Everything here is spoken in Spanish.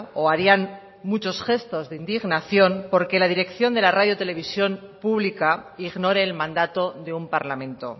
o harían muchos gestos de indignación porque la dirección de la radio televisión pública ignore el mandato de un parlamento